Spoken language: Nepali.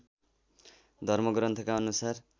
धर्म ग्रन्थका अनुसार